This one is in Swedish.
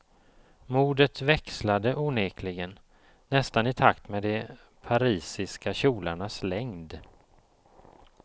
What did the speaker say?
Modet växlade onekligen, nästan i takt med de parisiska kjolarnas längd.